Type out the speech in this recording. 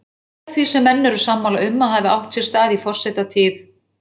Eitt af því sem menn eru sammála um að hafi átt sér stað í forsetatíð